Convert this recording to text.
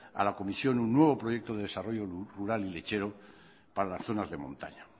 a la comisión un nuevo proyecto de desarrollo lechero para las zonas de montaña